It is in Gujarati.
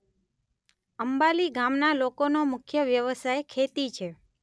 અંબાલી ગામના લોકોનો મુખ્ય વ્યવસાય ખેતી છે.